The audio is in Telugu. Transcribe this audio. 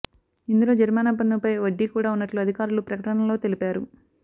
ఇందులో జరిమానా పన్నుపై వడ్డీ కూడా ఉన్నట్లు అధికారులు ప్రకటనలో తెలిపారు